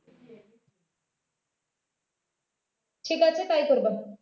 ঠিক আছে তাই করবে